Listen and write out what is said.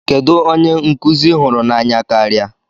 Kedu onye nkụzi I hụrụ n'anya karịa?